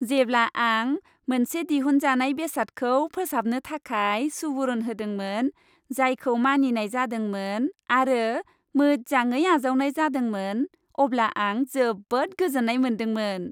जेब्ला आं मोनसे दिहुनजानाय बेसादखौ फोसाबनो थाखाय सुबुरुन होदोंमोन, जायखौ मानिनाय जादोंमोन आरो मोजाङै आजावनाय जादोंमोन, अब्ला आं जोबोद गोजोन्नाय मोन्दोंमोन।